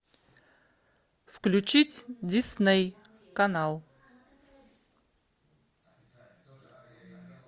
включить дисней канал